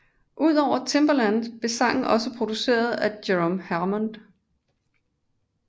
Udover Timbaland blev sangen også produceret af Jerome Harmon